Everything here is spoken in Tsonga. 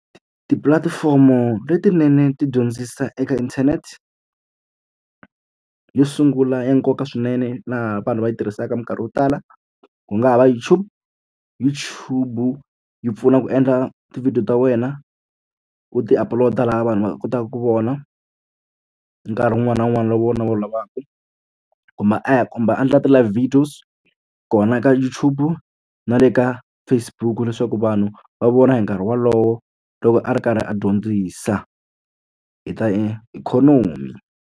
Tipulatifomo letinene ti dyondzisa eka internet. Yo sungula ya nkoka swinene laha vanhu va yi tirhisaka minkarhi yo tala ku nga ha va YouTube. YouTube yi pfuna ku endla tivhidiyo ta wena, u ti upload-a laha vanhu va kotaka ku vona nkarhi wun'wana na wun'wana lowu vona va wu lavaka. Kumbe komba a endla ti-live videos kona ka YouTube-u na le ka Facebook-u leswaku vanhu va vona hi nkarhi wolowo loko a ri karhi a dyondzisa hi ta ikhonomi.